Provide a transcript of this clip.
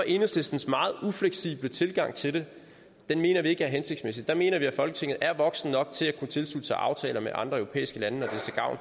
enhedslistens meget ufleksible tilgang til det ikke er hensigtsmæssig der mener at vi i folketinget er voksne nok til at kunne tilslutte os aftaler med andre europæiske lande